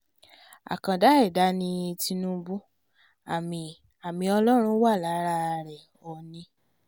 àkàndá ẹ̀dá ni tinúbù àmì àmì ọlọ́run wà lára rẹ̀ òónì